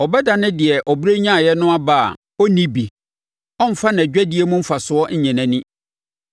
Ɔbɛdane deɛ ɔbrɛ nyaeɛ no aba a ɔrenni bi; ɔremfa nʼadwadie mu mfasoɔ nnye nʼani.